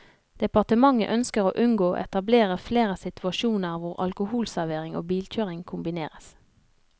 Departementet ønsker å unngå å etablere flere situasjoner hvor alkoholservering og bilkjøring kombineres.